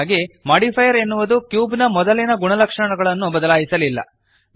ಹೀಗಾಗಿ ಮೋಡಿಫೈಯರ್ ಎನ್ನುವುದು ಕ್ಯೂಬ್ ನ ಮೊದಲಿನ ಗುಣಲಕ್ಷಣಗಳನ್ನು ಬದಲಾಯಿಸಲಿಲ್ಲ